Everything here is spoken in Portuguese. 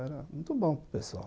Era muito bom para o pessoal.